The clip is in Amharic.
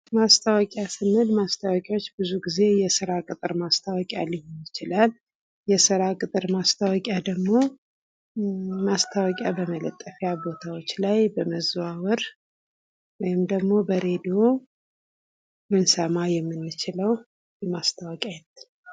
ማስታወቂያ ስንል ብዙ ጊዜ የስራ ቅጥር ማስታወቂያ የስራ ቅጥር ማስታወቂያ ደሞ ማስታወቂያ በመለጠፍ ያቦታው በመዛወር ወይም ደግሞ በሬዲዮ ልንሰማ የምንችለው የማስታወቂያ አይነት ነው ።